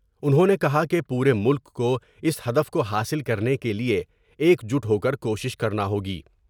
انہوں نے کہا کہ پورے ملک کو اس ہدف کو حاصل کرنے کے لئے ایک جٹ ہوکر کوشش کرنا ہوگی ۔